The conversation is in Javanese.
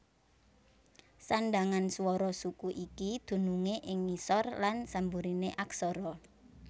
Sandhangan swara suku iki dunungé ing ngisor lan samburiné aksara